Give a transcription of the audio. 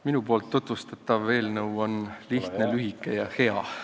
Minu tutvustatav eelnõu on lihtne, lühike ja hea.